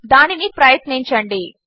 దానిని ప్రయత్నించండి